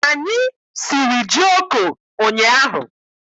Anyị siri jioko ụnyaahụ.